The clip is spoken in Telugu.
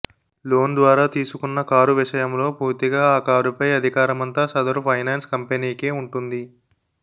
లోన్ ద్వారా తీసుకున్న కారు విషయంలో పూర్తిగా ఆ కారుపై అధికారమంతా సదరు ఫైనాన్స్ కంపెనీకే ఉంటుంది